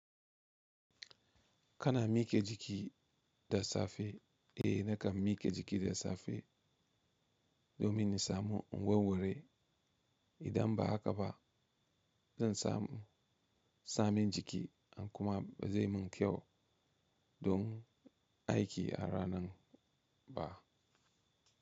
Kana mike jiki da safe? Eh, nakan mike jiki da safe domin in samu inwarwarai. Idan ba haka ba zan samu samin jiki in kuma ba zai mun kyau don aiki a ranan ba.